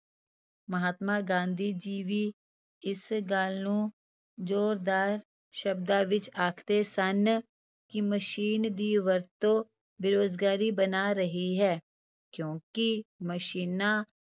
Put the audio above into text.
ਮਹਾਤਮਾ ਗਾਂਧੀ ਜੀ ਵੀ ਇਸ ਗੱਲ ਨੂੰ ਜ਼ੋਰਦਾਰ ਸ਼ਬਦਾਂ ਵਿੱਚ ਆਖਦੇੇ ਸਨ ਕਿ ਮਸ਼ੀਨ ਦੀ ਵਰਤੋਂ ਬੇਰੁਜ਼ਗਾਰੀ ਬਣਾ ਰਹੀ ਹੈ ਕਿਉਂਕਿ ਮਸ਼ੀਨਾਂ